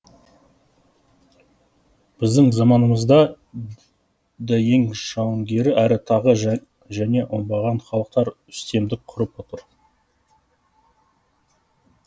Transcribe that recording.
біздің заманымызда да ең жауынгер әрі тағы және оңбаған халықтар үстемдік құрып отыр